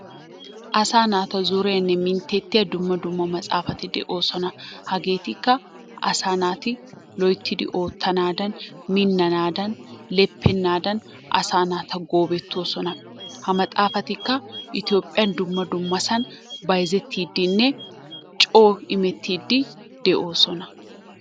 Asaa naata zoreenne minttettiya dumma dumma matsaafati de'oosona. Hageetikka asaa naati loyttidi oottanaadan, minnanaadan, leppennaadan asaa naata goobettoosona. Ha maxaafatikka Itoophphiyan dumma dummasan bayzettiyddinne coo imettiiddi de'oosona.